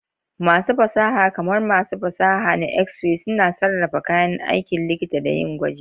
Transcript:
Masu fasaha, kamar masu fasaha na X-ray, suna sarrafa kayan aikin likita da yin gwaji.